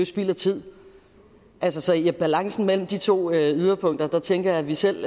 spild af tid altså i en balance mellem de to yderpunkter tænker jeg at vi selv